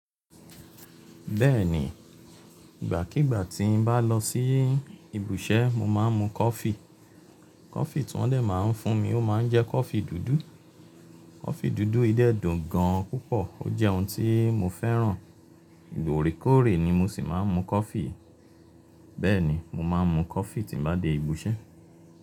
Bẹ́ẹ̀ni, ìgbàkiígbà tí n bá lọ sí ibiṣẹ́, mo máa ń mu coffee. Coffee tí wọ́n dẹ̀ máa ń fún mi, ó máa ń jẹ́ coffee dúdú. Coffee dúdú yìi dẹ́ dùn gan púpọ̀ ó jẹ́ ohun tí mo fẹ́ràn. Oore koòre ni mo sì máa ń mu coffee. Bẹ́ẹ̀ni mo máa ń mu coffee tí n bá dé ibiṣẹ́